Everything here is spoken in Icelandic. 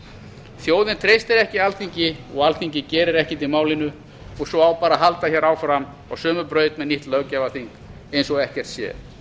þjóðin treystir ekki alþingi og alþingi gerir ekkert í málinu og svo á bara að halda áfram á sömu braut með nýtt löggjafarþing eins og ekkert sé